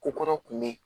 Ko kɔrɔ kun bɛ yen